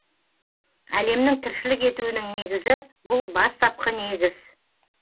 әлемнің тіршілік етуінің негізі бұл бастапқы негіз